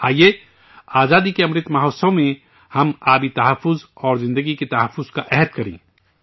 آئیے، آزادی کے امرت مہوتسو میں ہم آبی تحفظ اور حیاتی تحفظ کا عہد کریں